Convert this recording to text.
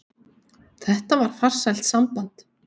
Þetta var farsælt samband.